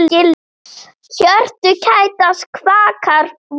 Hjörtu kætast, kvakar vor.